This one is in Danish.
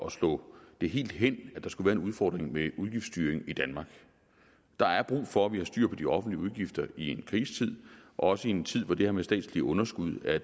at slå det helt hen at der skulle være en udfordring med udgiftsstyring i danmark der er brug for at vi har styr på de offentlige udgifter i en krisetid og også i en tid hvor det her med statslige underskud er